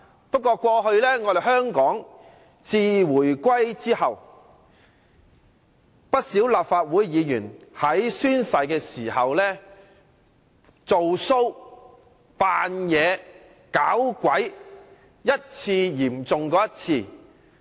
不過，自香港回歸後，不少立法會議員在宣誓時做 show、裝模作樣、"搞鬼"，程度一次較一次嚴重。